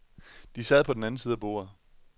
De sad på den anden side af bordet.